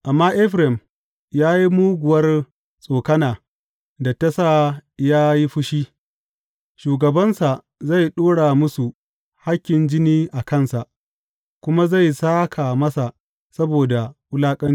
Amma Efraim ya yi muguwar tsokana da ta sa ya yi fushi; shugabansa zai ɗora musu hakkin jini a kansa kuma zai sāka masa saboda wulaƙancinsa.